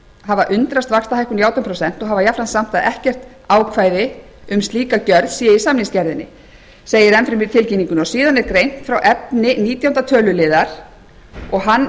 hafa undrast vaxtahækkun í átján prósent og hafa jafnframt sagt að ekkert ákvæði um slíka gerð sé í samningsgerðinni segir enn fremur í tilkynningunni og síðan er greint frá efni nítjánda töluliðar og